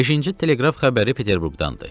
Beşinci teleqraf xəbəri Peterburqdandır.